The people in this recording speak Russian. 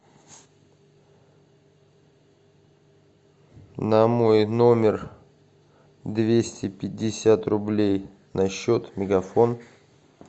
на мой номер двести пятьдесят рублей на счет мегафон